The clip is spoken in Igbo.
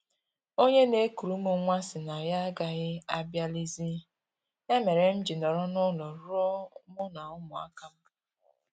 Onye na-ekuru m nwa sị na ya agaghị abịalizi, ya mere m ji nọrọ n'ụlọ rụọ mụ na ụmụaka m